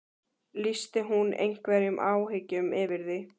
Lýsti hún einhverjum áhyggjum yfir því?